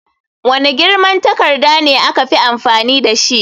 Wane girman takarda ne aka fi amfani dashi?